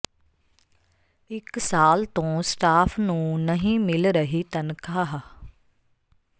ਇਕ ਸਾਲ ਤੋਂ ਸਟਾਫ ਨੂੰ ਨਹੀਂ ਮਿਲ ਰਹੀ ਤਨਖਾਹ